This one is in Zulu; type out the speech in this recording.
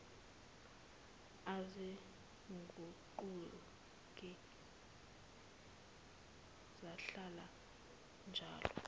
aziguquki zihlala zinjalo